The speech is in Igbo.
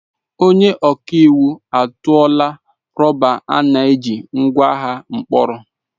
Onye ọka iwu atụọla rọba a na-eji ngwa agha mkpọrọ.